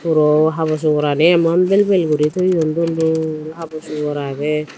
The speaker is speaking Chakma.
puro habor sugorani emon bel bel guri toyon dol dol habor sugor agey.